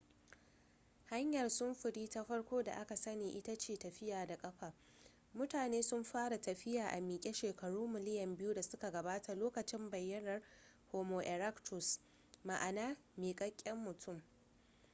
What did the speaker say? hanyar sufuri ta farko da aka sani ita ce tafiya da ƙafa mutane sun fara tafiya a miƙe shekaru miliyan biyu da suka gabata lokacin bayyanawar homo erectus ma'ana miƙaƙƙen mutum